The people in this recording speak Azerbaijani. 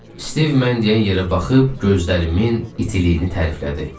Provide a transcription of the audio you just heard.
Stiv mən deyən yerə baxıb gözlərimin itiliyini təriflədi.